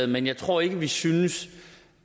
men jeg tror ikke vi synes